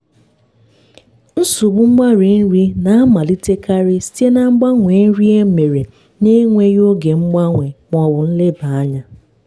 nsogbu mgbari nri na-amalitekarị site na mgbanwe nri emere na-enweghị oge mgbanwe ma ọ bụ nleba anya